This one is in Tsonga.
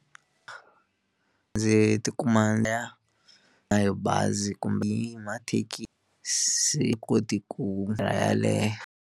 Ndzi ti kuma hi bazi kumbe hi mathekisi se koti ku yeleyo.